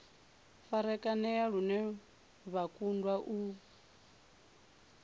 farakanea lune vha kundwa u